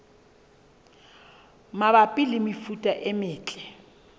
mabapi le mefuta e metle